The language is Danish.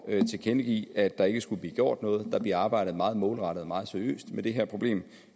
at tilkendegive at der ikke skulle blive gjort noget der bliver arbejdet meget målrettet og meget seriøst med det her problem